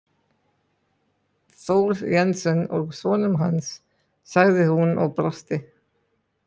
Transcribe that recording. Thor Jensen og sonum hans, sagði hún og brosti.